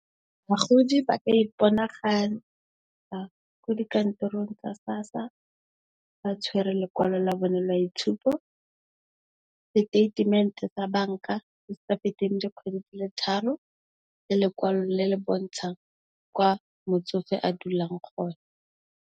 Bagodi ba ka iponagatsa ko dikantorong tsa SASSA ba tshwere lekwalo la bone la itshupo, diteitemente tsa banka tse sa feteng dikgwedi di le tharo le lekwalo le le bontshang kwa motsofe a dulang gona.